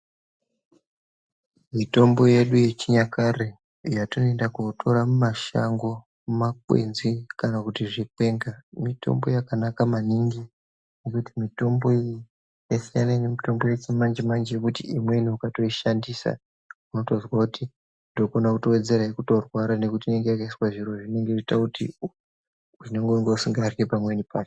Mitombo yedu yechinyakare yetinoenda kotora mumashango, mumakwenzi, kana kuti zvikwenga, mitombo yakanaka maningi, ngekuti mitombo iyi yasiyana nemitombo yechimanje-manje yekuti imweni ukatoishandisa unotozwa kuti ndokone kutowedzera kutorwara ngekuti inenge yakaiswa zviro zvinenge zveiita kuti unenge usingaryi pamweni pacho.